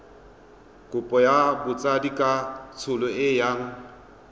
kopo ya botsadikatsholo e yang